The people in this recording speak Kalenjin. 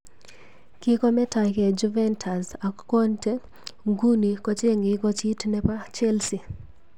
Kikometokei Juventus ak Conte nguni kochengei kochit nebo Chelsea.